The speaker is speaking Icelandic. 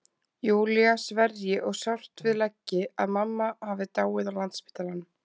Júlía sverji og sárt við leggi að mamma hafi dáið á Landspítalanum.